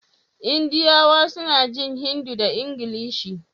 Indiyawa suna jin Hindi da Ingilishi